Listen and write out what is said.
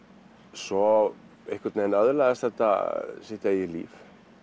svo öðlaðist þetta sitt eigið líf